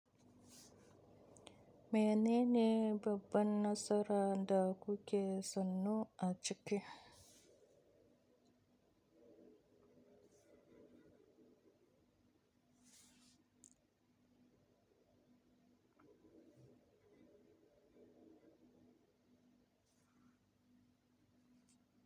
Menene babban nasara da kuke sanu a cike?